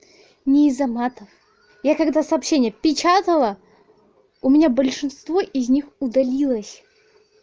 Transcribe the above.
не из-за матов я когда сообщение печатала у меня большинство из них удалилось